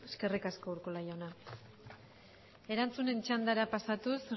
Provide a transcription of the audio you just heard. esker eskerrik asko urkola jauna erantzunen txandara pasatuz